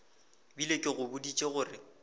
bile ke go boditše gore